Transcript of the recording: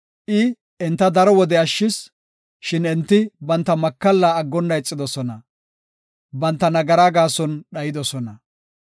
I enta daro wode ashshis; shin enti banta makalla aggonna ixidosona; banta nagaraa gaason dhayidosona.